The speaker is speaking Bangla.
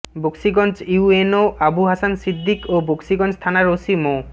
বকশীগঞ্জ ইউএনও আবু হাসান সিদ্দিক ও বকশীগঞ্জ থানার ওসি মো